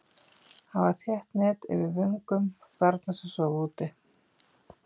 Hafa þétt net yfir vögnum barna sem sofa úti.